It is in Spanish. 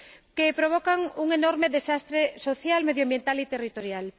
que provocan un enorme desastre social, medioambiental y territorial.